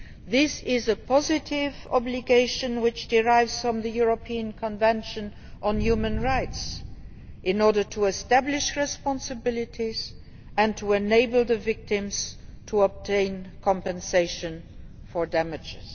This is a positive obligation which derives from the European Convention on Human Rights in order to establish responsibilities and enable the victims to obtain compensation for damage.